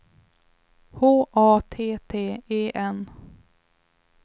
H A T T E N